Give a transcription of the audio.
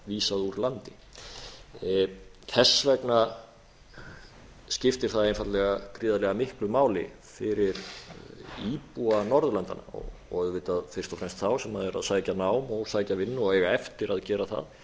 vera vísað úr landi þess vegna skiptir það einfaldlega gríðarlega miklu máli fyrir íbúa norðurlandanna og auðvitað fyrst og fremst þá sem eru að sækja nám og sækja vinnu og eiga eftir að gera það